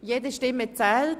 «Jede Stimme zählt!